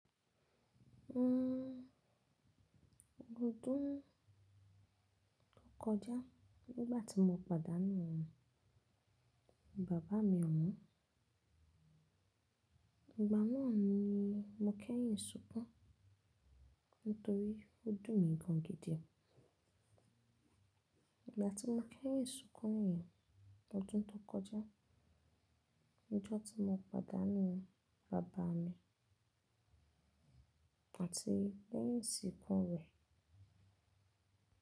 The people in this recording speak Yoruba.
Ọdún tó kọjá nígbà tí mo padà nù Baba mi ọ̀wọ́n. Ìgbà náà ni mo kẹ́yìn sunkún nítorí ojú mi gan gidi. Ìgbà tí mo kẹ́yìn sunkún niyẹn, ọdún tó kọjá, ọjọ́ tí mo padà nù Bàbá mi àti pé leyin isìkú rẹ̀.